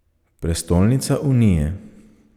Prestolnica Unije.